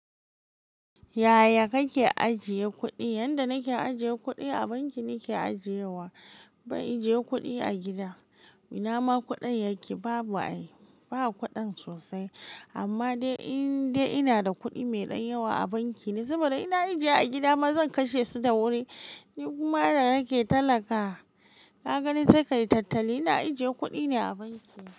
Yaya kake ajiye kuɗi? Yanda nake ajiye kuɗi a banki ne ke ajiye wa. Ban ajiye kuɗi a gida. Ina ma kuɗin yake, babu ai. In ba kuɗan sosai. Amma dai in dai ina da kuɗi mai ɗan yawa a banki. Yanzu bari in na ajiye a gida ma zan kashe su da wuri. Ni kuma da nake talaka, na gani sai kayi tattali. Ina ajiye kuɗi ne a banki.